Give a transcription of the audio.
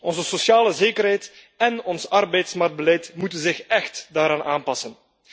Onze sociale zekerheid en ons arbeidsmarktbeleid moeten zich echt daaraan aanpassen.